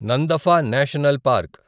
Namdapha national park